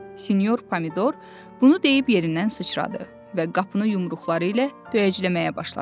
Sinyor pomidor bunu deyib yerindən sıçradı və qapını yumruqları ilə döyəcləməyə başladı.